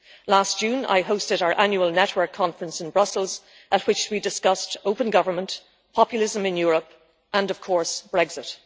Last June, I hosted our annual Network Conference in Brussels at which we discussed open government, populism in Europe and, of course, Brexit.